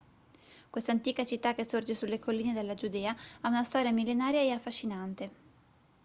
questa antica città che sorge sulle colline della giudea ha una storia millenaria e affascinante